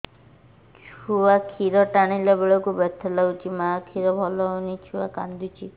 ଛୁଆ ଖିର ଟାଣିଲା ବେଳକୁ ବଥା ଲାଗୁଚି ମା ଖିର ଭଲ ହଉନି ଛୁଆ କାନ୍ଦୁଚି